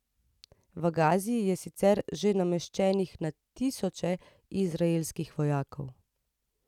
V Gazi je sicer že nameščenih na tisoče izraelskih vojakov.